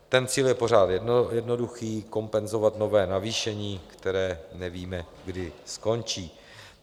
Ten cíl je pořád jednoduchý, kompenzovat nové navýšení, které nevíme, kdy skončí.